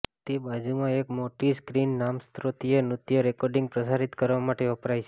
તે બાજુમાં એક મોટી સ્ક્રીન નામસ્ત્રોતીય નૃત્ય રેકોર્ડિંગ પ્રસારિત કરવા માટે વપરાય છે